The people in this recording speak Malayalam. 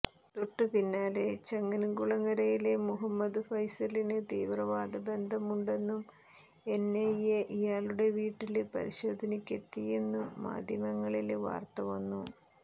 തൊട്ടുപിന്നാലെ ചങ്ങന്കുളങ്ങരയിലെ മുഹമ്മദ് ഫൈസലിന് തീവ്രവാദബന്ധം ഉണ്ടെന്നും എന്ഐഎ ഇയാളുടെ വീട്ടില് പരിശോധനയ്ക്കെത്തിയെന്നു മാധ്യമങ്ങളില് വാര്ത്ത വന്നു